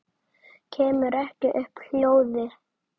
Kemur ekki upp hljóði.